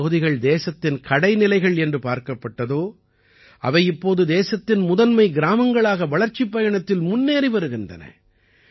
எந்தப் பகுதிகள் தேசத்தின் கடைநிலைகள் என்று பார்க்கப்பட்டதோ அவை இப்போது தேசத்தின் முதன்மை கிராமங்களாக வளர்ச்சிப் பயணத்தில் முன்னேறி வருகின்றன